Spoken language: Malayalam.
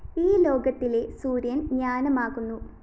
ഈ ലോകത്തിലെ സൂര്യന്‍ ജ്ഞാനമാകുന്നു